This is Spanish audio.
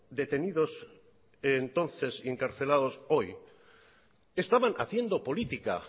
detenidos entonces y encarcelados hoy estaban haciendo política